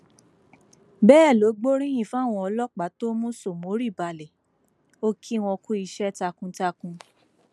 bẹẹ ló gbóríyìn fáwọn ọlọpàá tó mú sómórì balẹ o kí wọn kú iṣẹ takuntakun